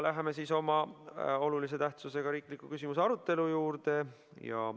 Läheme siis oma olulise tähtsusega riikliku küsimuse arutelu juurde.